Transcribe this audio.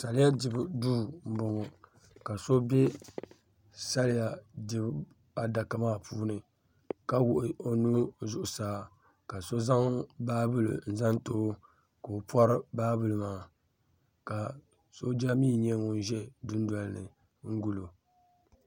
Saliya dibu duu m boŋɔ ka so be saliya dibu duu adaka maa puuni ka wuɣi o nuu zuɣusaa ka so zaŋ baabuli n zaŋ ti o ka o pori baabuli maa ka sooja mee nyɛ ŋun za dundoli ni n guli o.